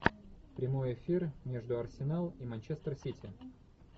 прямой эфир между арсенал и манчестер сити